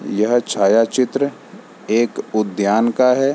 यह छायाचित्र एक उद्यान का है।